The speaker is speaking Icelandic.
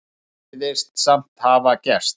Það virðist samt hafa gerst.